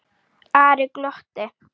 Ari glotti.